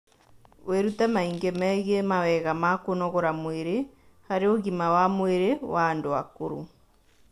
Wĩrute maingĩ megiĩ mawega ma kũnogora mwĩrĩ harĩ ũgima wa mwĩrĩ wa andũ akũrũ